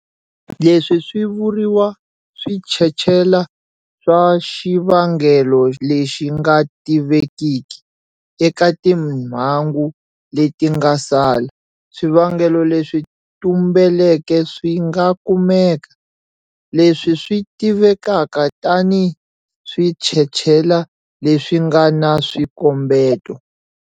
Leswi swi vuriwa switshetshela swa xivangelo lexi nga tivekiki. Eka timhangu leti nga sala, swivangelo leswi tumbeleke swi nga kumeka, leswi swi tivekaka tani switshetshela leswi nga na swikombeto.